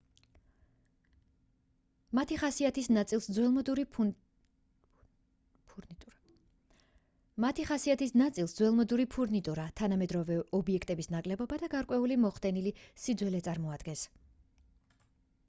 მათი ხასიათის ნაწილს ძველმოდური ფურნიტურა თანამედროვე ობიექტების ნაკლებობა და გარკვეული მოხდენილი სიძველე წარმოადგენს